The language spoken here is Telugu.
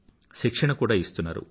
శిక్షణను కూడా ఇస్తున్నారు